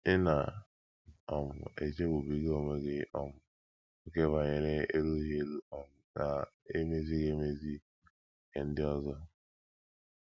Ị̀ na - um echegbubiga onwe gị um ókè banyere erughị eru um na emezighị emezi nke ndị ọzọ?